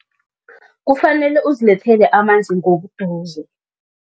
Kufanele uzilethele amanzi ngobuduze.